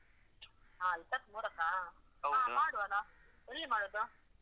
ಹಾ, ಇಪ್ಪತ್ಮೂರಕ್ಕಾ? ಹ ಮಾಡುವ ಅಲ್ಲ? ಎಲ್ಲಿ ಮಾಡುದು?